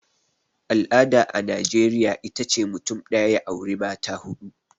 al'ada a najeriya ita ce mutum daya ya auri mata hudu